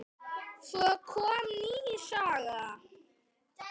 Svo kom ný saga.